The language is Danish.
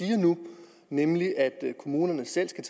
siger nu nemlig at kommunerne selv skal